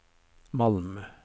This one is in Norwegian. Malm